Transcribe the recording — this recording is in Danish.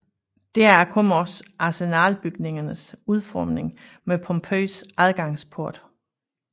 Deraf kommer også Arsenalbygningernes udformning med pompøs adgangsport